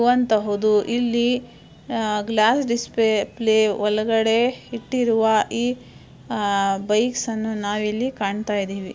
ಆ ಆ ಬೈಕ್ ಅನ್ನು ನಾವಿಲ್ಲಿ ಕಾಣ್ತಿದೀವಿ--